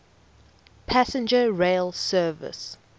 passenger rail service